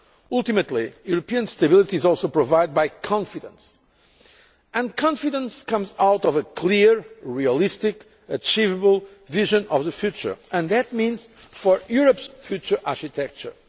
them. Ultimately, European stability is also provided by confidence and confidence comes out of a clear, realistic and achievable vision of the future, and that means for Europe's future architecture.